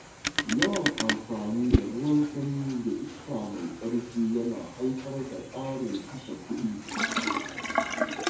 Yawan amfani da ruwan sanyi da iska mai ƙarfi yana haifar da ƙarin kashe kuɗi.